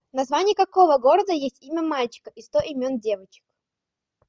в название какого города есть имя мальчика и сто имен девочек